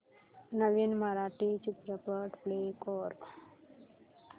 नवीन मराठी चित्रपट प्ले कर